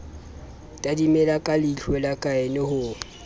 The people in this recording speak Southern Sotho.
tadimile ka leihlola kaine ho